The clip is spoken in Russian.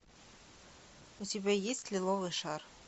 у тебя есть лиловый шар